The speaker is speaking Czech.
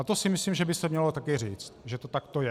A to si myslím, že by se mělo také říct, že to takto je.